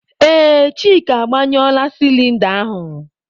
Ee, Chika agbanyụọla sịlịnda ahụ.